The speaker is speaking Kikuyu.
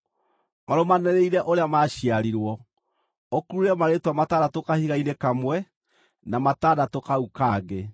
marũmanĩrĩire ũrĩa maaciarirwo, ũkurure marĩĩtwa matandatũ kahiga-inĩ kamwe, na matandatũ kau kangĩ.